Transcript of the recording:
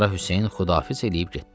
Qara Hüseyn Xudafiz eləyib getdi.